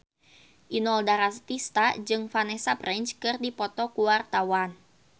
Inul Daratista jeung Vanessa Branch keur dipoto ku wartawan